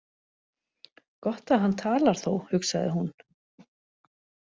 Gott að hann talar þó, hugsaði hún.